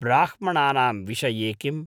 ब्राह्मणानां विषये किम्?